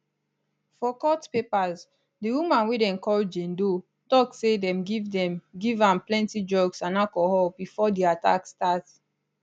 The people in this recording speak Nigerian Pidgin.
for court papers di woman wey dem call jane doe tok say dem give dem give am plenti drugs and alcohol bifor di attack start